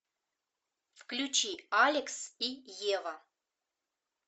включи алекс и ева